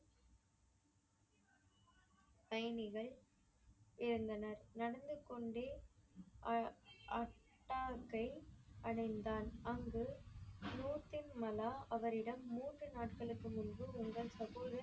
பயணிகள் இருந்தனர் நடந்துக்கொண்டே அ~அத்தாகே அடைந்தான். அங்கு த்ரோட்டின் மலா அவரிடம் மூன்று நாட்களுக்கு முன்பு ஒருவர் தற்பொழுது